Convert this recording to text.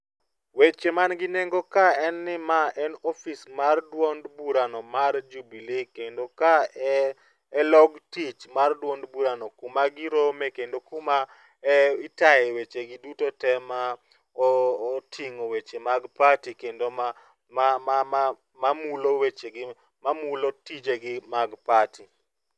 Weche man gi nengo ka en ni ma en ofis mar duond bura no mar Jubilee kendo ka en e log tich mar duond bura n kuma girome kendo kuma itaye weche gi duto tee ma otingo weche mag party kendo ma, ma, ma mamulo wechegi, mamulo wechegi mag party